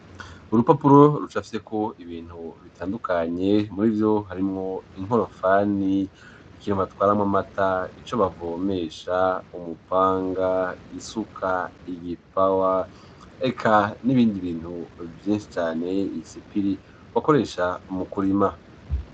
Urupapuro rucafyeko ibintu bitandukanye murivyo harimwo inkorofani, ikintubatwaramwo amata, ico bavomesha, umupanga, isuka, igipawa, ek n'ibindi bintu vyinshi cane. Isipiri bakoresha mu kurima.